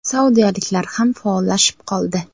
Saudiyaliklar ham faollashib qoldi.